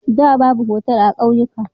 Da, babu otal a kauyuka.